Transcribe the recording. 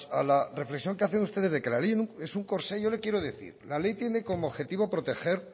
a la reflexión que hacen ustedes de que la ley es un corsé yo le quiero decir que la ley tiene como objetivo proteger